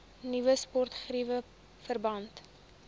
nuwe sportgeriewe verband